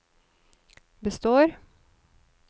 består